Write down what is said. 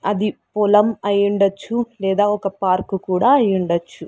అది పొలం అయ్యుండచ్చు లేదా ఒక పార్కు కూడా అయ్యుండచ్చు.